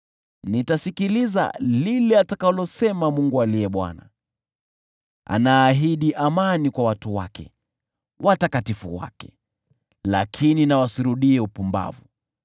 Nitasikiliza lile atakalosema Mungu aliye Bwana ; anaahidi amani kwa watu wake, watakatifu wake: lakini nao wasirudie upumbavu.